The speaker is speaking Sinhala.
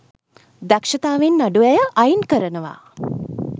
දක්ෂතාවයෙන් අඩු අය අයින් කරනවා.